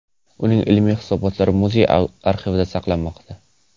Uning ilmiy hisobotlari muzey arxivida saqlanmoqda.